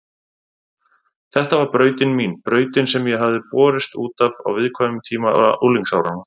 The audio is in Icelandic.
Þetta var brautin mín, brautin sem ég hafði borist út af á viðkvæmum tíma unglingsáranna.